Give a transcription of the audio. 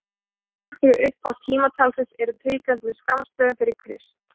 ár fyrir upphaf tímatalsins eru tilgreind með skammstöfunum fyrir krist